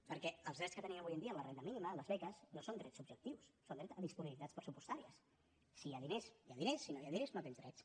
perquè els drets que tenim avui en dia la renda mínima les beques no són drets subjectius són drets a disponibilitats pressupostàries si hi ha diners hi ha drets si no hi ha diners no tens drets